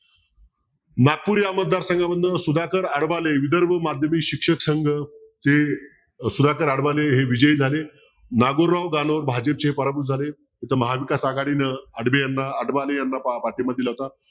नागपूर या मतदार संघामधनं सुधाकर आडबाले विदर्भ माध्यमिक शिक्षक संघ ते सुधाकर आडबाले हे विजयी झाले नागुराव जानोर हे भाजपचे पराभूत झाले. तर महाविकास आघाडीनं आडबाले यांना पाठींबा दिला होता.